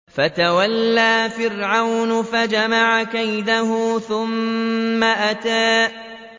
فَتَوَلَّىٰ فِرْعَوْنُ فَجَمَعَ كَيْدَهُ ثُمَّ أَتَىٰ